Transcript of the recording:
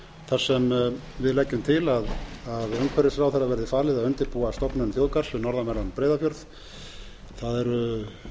þar sem við leggjum til að umhverfisráðherra verði falið að undirbúa stofnun þjóðgarðs um norðanverðan breiðafjörð það eru